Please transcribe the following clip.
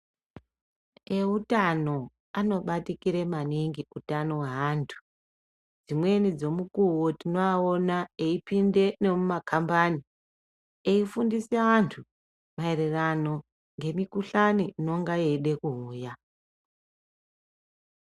Eutano anobatikire maningi utano hweantu. Dzimweni dzemukuwo tinoawona eyipinde nemumakhambani eyifundise antu maererano ngemukhuhlane inonga yeide kuuya.